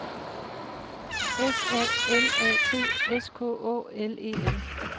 S A L A T S K Å L E N